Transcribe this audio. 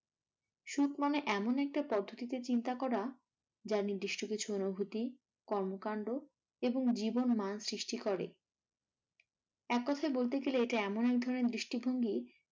সুখ মানে এমন একটি পদ্ধতিতে চিন্তা করা যা নির্দিষ্ট কিছু অনুভূতি, কর্মকান্ড এবং জীবন মানুষ সৃষ্টি করে। এককথায় বলতে গেলে ইটা এমন একধরণের দৃষ্টিভঙ্গি